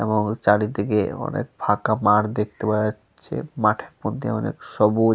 এবং চারিদিকে অনেক ফাকা মাঠ দেখতে পাওয়া যাচ্ছে। মাঠের মধ্যে অনেক সবুজ--